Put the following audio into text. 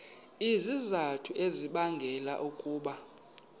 izizathu ezibangela ukuba